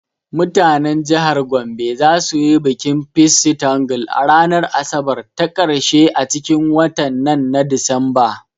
Mutanen jihar Gombe za su yi bikin ''Pissi tangle'' a ranar asabar ta karshe a cikin watan nan na disamba